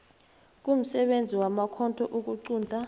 kumsebenzi wamakhotho ukuqunta